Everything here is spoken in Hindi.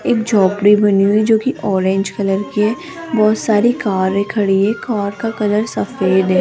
एक झोपड़ी बनी हुई है जो की ऑरेंज कलर की है बहोत सारी कारे खड़ी है कार का कलर सफेद है।